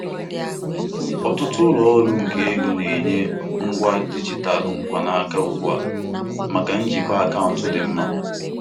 Ọtụtụ ụlọ ọrụ nke ego na-enye ngwa dijitalụ mkpanaka ugbu a maka njikwa akaụntụ dị mma.